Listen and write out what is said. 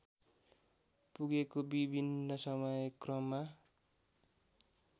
पुगेको विभिन्न समयक्रममा